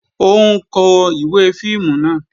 Ó ń kó ìwé fíìmù náà